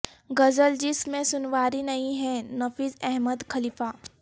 غزل جس میں سنواری نہیں ہے نفیس احمد خلیفہ